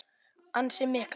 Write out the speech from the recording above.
Ansi miklar.